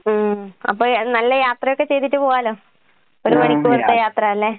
ഉം അപ്പെ നല്ല യാത്രയൊക്കെ ചെയ്തിട്ട് പോകാലോ. ഒരു മണിക്കൂർത്തെ യാത്രാല്ലേ?